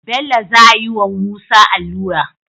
Bello zayi wa musa alura